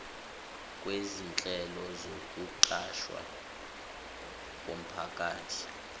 kwezinhlelo zokuqashwa komphakathi